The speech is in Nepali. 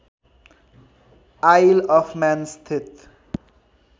आइलअफम्यान स्थित